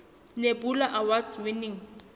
nebula award winning